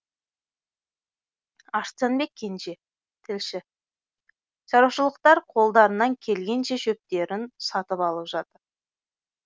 арыстанбек кенже тілші шаруашылықтар қолдарынан келгенше шөптерін сатып алып жатыр